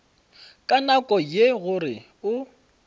ka nako ye gore o